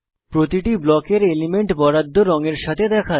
প্রতিটি ব্লকের এলিমেন্ট বরাদ্দ রঙের সাথে দেখায়